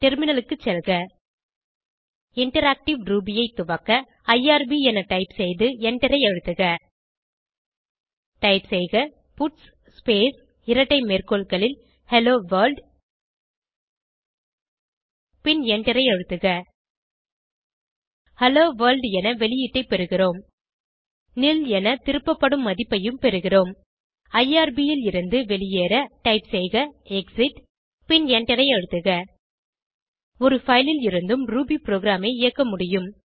டெர்மினலுக்கு செல்க interactive Ruby ஐ துவக்க ஐஆர்பி என டைப் செய்து எண்டரை அழுத்துக டைப் செய்க பட்ஸ் ஸ்பேஸ் இரட்டை மேற்கோள்களில் ஹெல்லோ வர்ல்ட் பின் எண்டரை அழுத்துக ஹெல்லோ வர்ல்ட் என வெளியீடை பெறுகிறோம் நில் என திருப்பப்படும் மதிப்பையும் பெறுகிறோம் ஐஆர்பி லிருந்து வெளியேற டைப் செய்கexit பின் எண்டரை அழுத்துக ஒரு பைல் ல் இருந்தும் ரூபி ப்ரோகிராமை இயக்க முடியும்